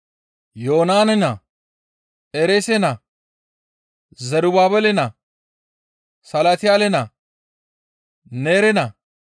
Yoonane naa, Ereese naa, Zerubaabele naa, Salatiyaale naa, Neere naa,